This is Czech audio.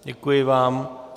Děkuji vám.